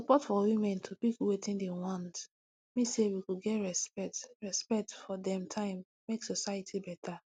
support for women to pick wetin dem want mean say we go get respect respect for dem time make society beta